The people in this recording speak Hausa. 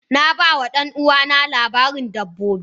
Na ba wa ɗan'uwana labarin dabbobi.